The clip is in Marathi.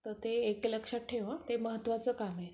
तर ते एक लक्षात ठेव हां. तर ते महत्वाचं काम आहे.